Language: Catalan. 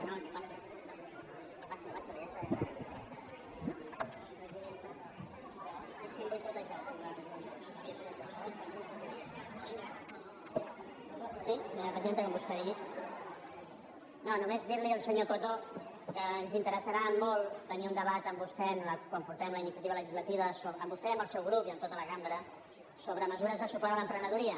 no només dir li al senyor coto que ens interessarà molt tenir un debat amb vostè quan portem la iniciativa legislativa amb vostè i amb el seu grup i amb tota la cambra sobre mesures de suport a l’emprenedoria